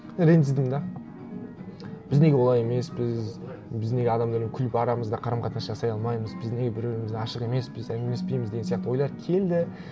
ренжідім де біз неге олай емеспіз біз неге адамдармен күліп арамызда қарым қатынас жасай алмаймыз біз неге бір бірімізге ашық емеспіз әңгімелеспейміз деген сияқты ойлар келді